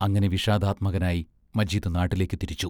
അങ്ങനെ വിഷാദാത്മകനായി മജീദ് നാട്ടിലേക്ക് തിരിച്ചു.